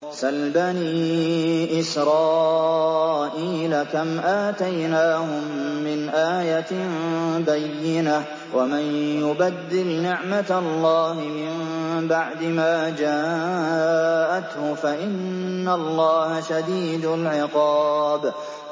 سَلْ بَنِي إِسْرَائِيلَ كَمْ آتَيْنَاهُم مِّنْ آيَةٍ بَيِّنَةٍ ۗ وَمَن يُبَدِّلْ نِعْمَةَ اللَّهِ مِن بَعْدِ مَا جَاءَتْهُ فَإِنَّ اللَّهَ شَدِيدُ الْعِقَابِ